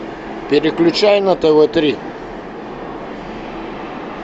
переключай на тв три